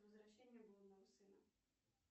возвращение блудного сына